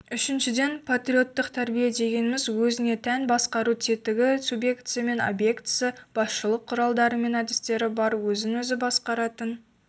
үшіншіден патриоттық тәрбие дегеніміз өзіне тән басқару тетігі субъектісі мен объектісі басшылық құралдары мен әдістері бар өзін-өзі басқаратын